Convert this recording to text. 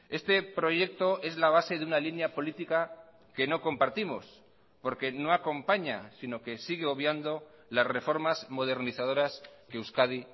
este proyecto es la base de una línea política que no compartimos porque no acompaña sino que sigue obviando las reformas modernizadoras que euskadi